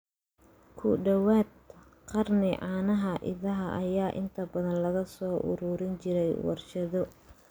Ku dhawaad ??qarni, caanaha idaha ayaa inta badan laga soo ururin jiray warshado.